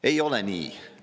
Ei ole nii!